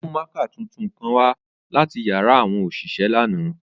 O mu mạạkạ tuntun kan wa lati yara awọn oṣiṣẹ ni ánà.